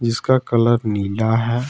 जिसका कलर नीला है।